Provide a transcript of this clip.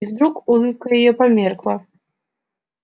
и вдруг улыбка её померкла